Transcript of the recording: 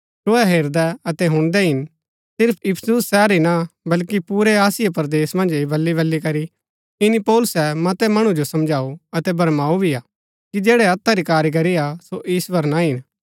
तुहै हेरदै अतै हुणदै हिन सिर्फ इफिसुस शहर ही ना बल्कि पुरै आसिया मन्ज ऐह बलीबली करी ईनी पौलुसै मतै मणु जो समझाऊ अतै भरमाऊ भी हा कि जैड़ी हत्था री कारीगरी हा सो ईश्‍वर ना हिन